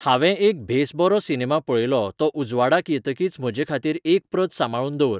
हांवें एक बेस बरो सिनेमा पळयलो तो उजवाडाक येतकीच म्हजेखातीर एक प्रत सांबांळून दवर